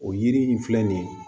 O yiri in filɛ nin ye